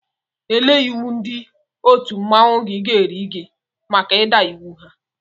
Ele iwu ndị otu mmanwụ gị ga-eri gị maka ịda iwu ha?